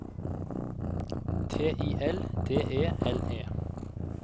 T I L D E L E